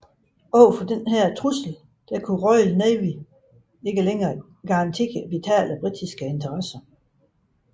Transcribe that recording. Overfor disse trusler kunne Royal Navy ikke længere garantere vitale britiske interesser